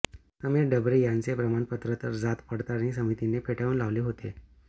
समीर डबरे यांचे प्रमाणपत्र तर जात पडताळणी समितीने फेटाळून लावले होते